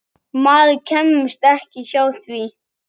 Maður kemst ekki hjá því.